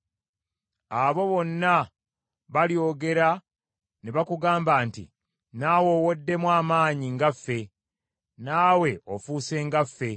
Abo bonna balyogera ne bakugamba nti, “Naawe oweddemu amaanyi nga ffe! Naawe ofuuse nga ffe!”